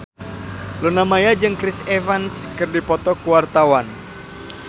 Luna Maya jeung Chris Evans keur dipoto ku wartawan